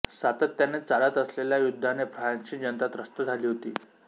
सातत्याने चालत असलेल्या युद्धाने फ्रान्सची जनता त्रस्त झाली होती